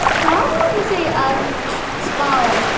Hvað voru þeir að spá?